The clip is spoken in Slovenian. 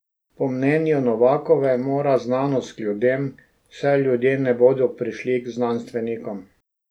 Po mnenju Novakove mora znanost k ljudem, saj ljudje ne bodo prišli k znanstvenikom.